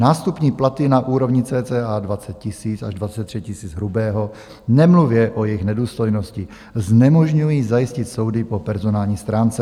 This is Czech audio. Nástupní platy na úrovni cca 20 000 až 23 000 hrubého, nemluvě o jejich nedůstojnosti, znemožňují zajistit soudy po personální stránce.